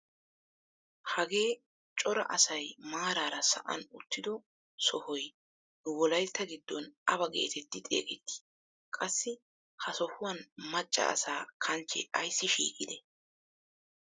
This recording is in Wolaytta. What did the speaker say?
Hagee cora asay maarara sa'an uttido sohoy nu wolaytta giddon awa getetti xeegettii? qassi ha sohuwaan macca asaa kanchchee ayssi shiiqidee?